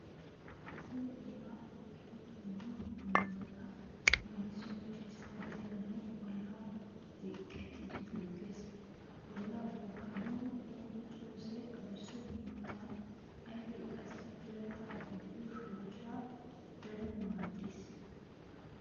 Asay ollaa bookidi dumma dummabata leemiswuassi dirssaa diranaassi ollaa ziqqettidi bookkees. Ollaa bokkanawu oyqqiyoosay adussa mittaa ayfee qassi birata gidido shoodiray daruwa maaddees.